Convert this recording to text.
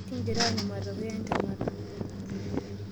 Kingira aanyu matokeo entemata.